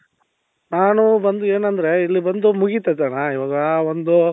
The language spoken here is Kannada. ನಾನು ಬಂದು ಏನಂದ್ರೆ ಇಲ್ಲಿ ಬಂದು ಮುಗಿತದಣ್ಣ ಇವಾಗ ಒಂದು